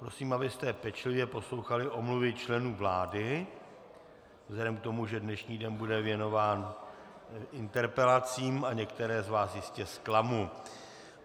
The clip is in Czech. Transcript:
Prosím, abyste pečlivě poslouchali omluvy členů vlády vzhledem k tomu, že dnešní den bude věnován interpelacím a některé z vás jistě zklamu.